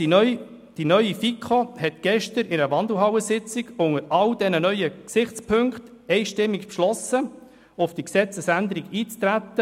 Die neu zusammengesetzte FiKo hat anlässlich der gestrigen der Wandelhallensitzung unter all diesen neuen Gesichtspunkten einstimmig beschlossen, auf die Gesetzesänderung einzutreten.